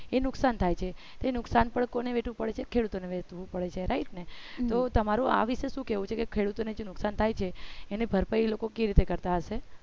એ નુકસાન થાય છે તે નુકસાન પણ કોને વેઠું પડશે ખેડૂતોને વેઠવું પડે છે right ને તો તમારો આ વિશે શું કહેવું છે કે ખેડૂતો નથી નુકસાન થાય છે એને ભરપાઈ એ લોકો કેવી રીતે કરતા હશે